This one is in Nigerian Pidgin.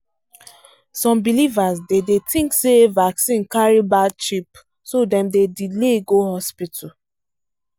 some believers dey dey think say vaccine carry bad chip so dem dey delay go hospital